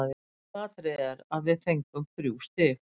Aðalatriðið er að við fengum þrjú stig.